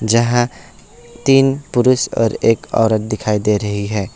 जहां तीन पुरुष और एक औरत दिखाई दे रही है।